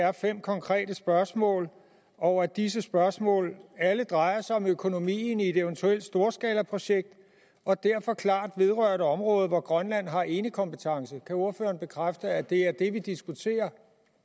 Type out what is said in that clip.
er fem konkrete spørgsmål og at disse spørgsmål alle drejer sig om økonomien i et eventuelt storskalaprojekt og derfor klart vedrører et område hvor grønland har enekompetence kan ordføreren bekræfte at det er det vi diskuterer